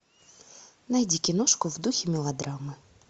найди киношку в духе мелодрамы